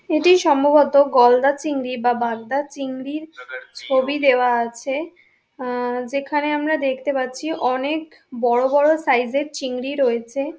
এটি সম্ববত গলদা চিংড়ি বা বাগদা চিংড়ির ছবি দেওয়া আছে। আ-ম যেখানে আমরা দেখতে পাচ্ছি অনেক বড়ো বড়ো সাইজের চিংড়ি রয়েছে।